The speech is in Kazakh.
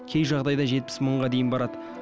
кей жағдайда жетпіс мыңға дейін барады